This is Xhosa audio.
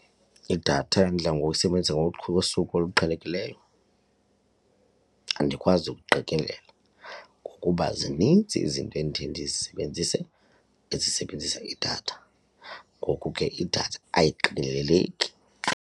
Idatha endidla ngoyisebenzisa ngosuku oluqhelekileyo andikwazi ukuqikelela ngokuba zininzi izinto endiye ndizisebenzise ezisebenzisa idatha ngoku ke idatha ayiqikeleleki.